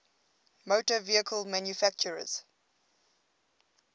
motor vehicle manufacturers